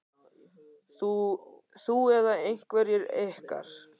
Þú eða einhverjir ykkar?